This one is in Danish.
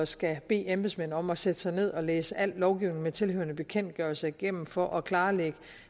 skal bede embedsmænd om at sætte sig ned og læse al lovgivning med tilhørende bekendtgørelser igennem for at klarlægge